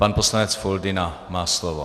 Pan poslanec Foldyna má slovo.